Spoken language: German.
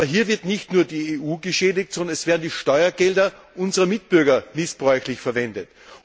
Aber hier wird nicht nur die EU geschädigt, sondern es werden die Steuergelder unserer Mitbürger missbräuchlich verwendet.